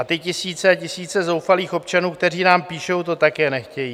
A ty tisíce a tisíce zoufalých občanů, kteří nám píšou, to také nechtějí.